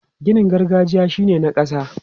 Ginin gargajiya shi ne na ƙasa.